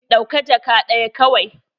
Ɗauka jakka daya kawai.